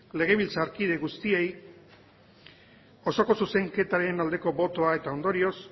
legebiltzarkide guztiei osoko zuzenketaren aldeko botoa eta ondorioz